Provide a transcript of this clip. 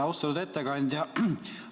Austatud ettekandja!